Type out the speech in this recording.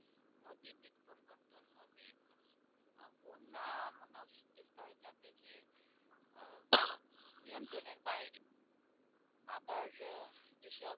নিযন্ত্রনের বাইরে আবার যেসব